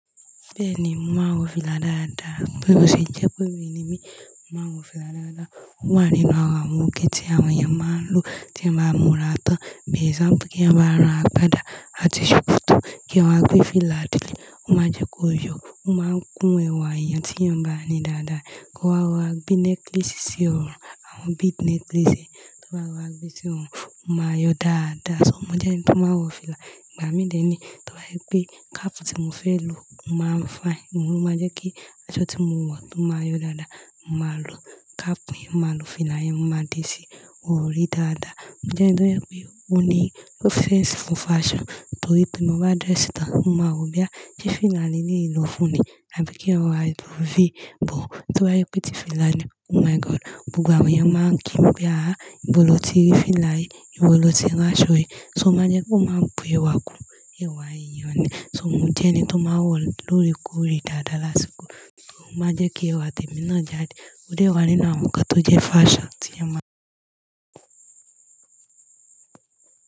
Bẹ́ẹ̀ni, mo máa ń wọ fìlà dáradára, bí mo ṣe jẹ́ pé obìnrin ni mí, mo maá ń wọ fìlà dáadáa. Ó wà nínú ara àwọn nnkàn tí àwọn èèyàn máa ń lò tí èyàn bá múra tán. Bí èsampù kí ẹyan bá rá àgbàdá àti ṣòkòtò, kí ẹyan wa gbé fìlà dé, ó máa jẹ́ kó yọ. Ó máa ń kún ẹwà èèyàn tí èèyàn bá ní dáadáa. Kó wá rọra gbé necklace sí ọrùn, àwọn bead necklace, tó wá rora gbé sí ọrùn, ó máa yọ dáadáa. So mò jẹ́ ẹni tó máa ń wọ fìlà. Ìgbà mí dẹ̀ ni, tóbá jẹ́ pé cap tí mò fẹ́ lò ó máa ń fine, òun ló máa jẹ́ kí aṣọ tí mò ń wọ̀ tó máa yọ dáadáa. Màá lò cap yẹn, màá lò fìlà yẹn, mo màá dé sí orí dáadáa. Mo jẹ́ ẹni tó jẹ́pé ó ní ló sense fún fashion, torí bí mo bá dress tán, mó máa wò bóyá ṣe fìlà Lele yìí ló fún ni àbí kí n rọra lo V bone, tó bá jẹ́ pé tí fìlà ni. Oh my God! Gbogbo àwọn èèyàn máa ń kí mi pé, "àhí, ibo lo ti rí fìlà yìí? Ibo lo ti rán aṣọ yìí?" So ó máa ń jẹ́ kó máa bu ẹwà kún ẹwà èèyàn ni. So mò jẹ́ ẹni tó máa wọ̀ lórekore dáadáa lásìkò, ó máa jẹ́ kí ẹwà tèmi ná jáde. Ó dé wà nínú àwọn ǹkan tó jẹ́ fashion tí èyàn máa.